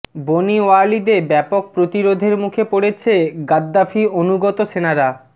বনি ওয়ালিদে ব্যাপক প্রতিরোধের মুখে পড়েছে গাদ্দাফি অনুগত সেনারা